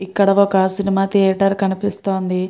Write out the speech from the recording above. ఇక్కడ ఒక cinema theatre కనిపిస్తోంది.